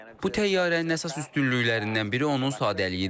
Bu təyyarənin əsas üstünlüklərindən biri onun sadəliyidir.